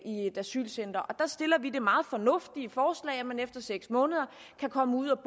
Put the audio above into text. i et asylcenter her stiller vi det meget fornuftige forslag at man efter seks måneder kan komme ud